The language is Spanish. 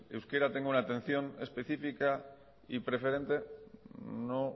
euskera tenga una atención específica y preferente no